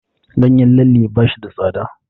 Ganyen lalle ba shi da tsada.